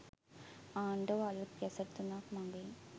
ආණ්ඩුව අලුත් ගැසට් තුනක් මගින්